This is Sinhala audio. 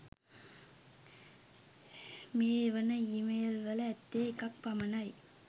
මේ එවන ඊමේල්වල ඇත්තේ එකක් පමණයි.